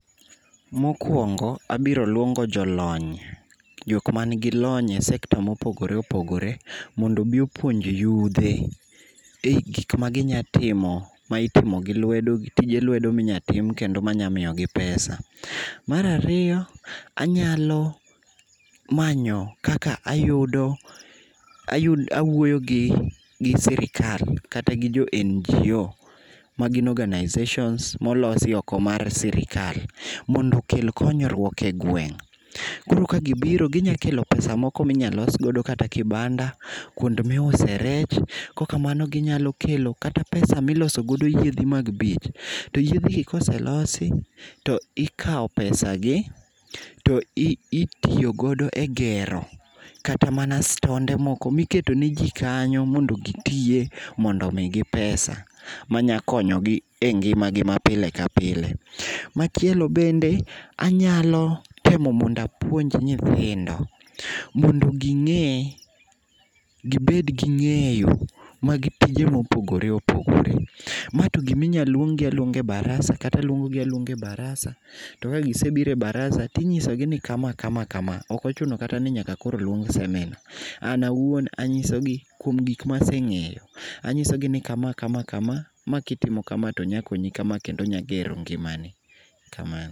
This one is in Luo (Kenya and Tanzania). Mokuongo, abiro luongo jolony. Jok ma nigi lony e sekta mopogore opogore mondo obi opuonj yudhe ei gik ma ginya timo ma itimo gi lwedo gi tije lwedo minyatim kendo manya miyo gi pesa. Mar ariyo, anyalo manyo kaka ayudo, awuoyo gi sirkal kata gi jo NGO ma gin organisations molosi oko mar sirkal, mondo okel konyruok e gweng'. Koro ka gibiro ginyakelo pesa moko minya los godo kata kibanda, kuonde miuse rech kok kamano ginyalo kelo kata pesa miloso godo kata yedhe mag. To yedh gi koselosi, to ikao pesa gi to itiyogodo e gero kata mana stonde moko miketo ne ji kanyo mondo gitiye mondo omigi pesa manya konyo gi e ngima gi mapile kapile. Machielo bende, anyalo temo mondo apuonj nyithindo mondo ging'e, gibed gi ng'eyo mag tije mopogore opogore. Ma to gima inyaluong gi aluonga e baraza, kata aluongo gi aluonga e baraza to kagisebiro e baraza tinyiso gi ni kama kama kama. Ok ochuno kata ni nyaka koro luong seminar. An awuon anyiso gi kuom gik maseng'eyo. Anyiso gi ni kama kama kama, ma kitimo kama, to nyakonyi kama kendo nyagero ngimani. Kamano.